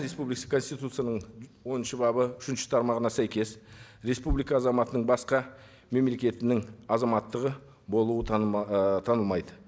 республикасы конституцияның оныншы бабы үшінші тармағына сәйкес республика азаматының басқа мемлекетінің азаматтығы болуы ы танылмайды